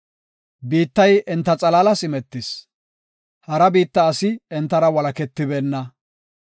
Biittay enta xalaalas imetis; hara biitta asi entara walaketibeenna.